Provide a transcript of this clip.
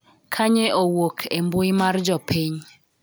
Kanye owuok e mbui mar jopiny